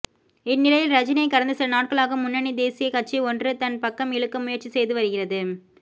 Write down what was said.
இந்நிலையில் ரஜினியை கடந்த சில நாட்களாக முன்னணி தேசிய கட்சி ஒன்று தன் பக்கம் இழுக்க முயற்சி செய்து வருகிறது